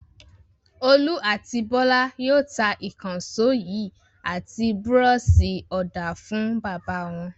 Olú àti Bọ́lá yóò ta ìkànṣó yìí àti búrọ́ṣì-ọ̀dà fún bàbá wọn.